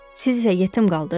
Siz isə yetim qaldız?